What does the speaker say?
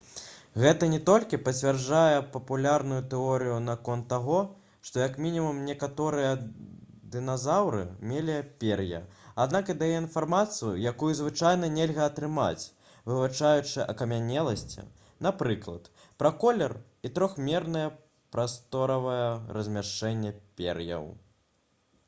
гэта не толькі пацвярджае папулярную тэорыю наконт таго што як мінімум некаторыя дыназаўры мелі пер'е аднак і дае інфармацыю якую звычайна нельга атрымаць вывучаючы акамянеласці напрыклад пра колер і трохмернае прасторавае размяшчэнне пер'яў